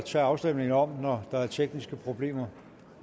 tage afstemningen om når der er tekniske problemer